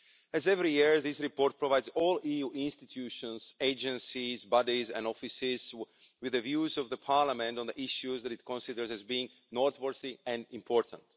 As every year, these reports provide all EU institutions, agencies, bodies and offices with the views of Parliament on the issues that it considers as being noteworthy and important.